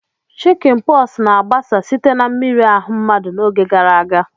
Chickinposu na-agbasa site na mmiri ahu mmadu n'oge gara aga.